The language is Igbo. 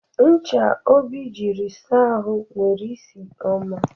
Ncha Obi jiri saa ahụ nwere isi ọma.